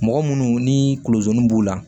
Mɔgɔ munnu ni kunzeni b'u la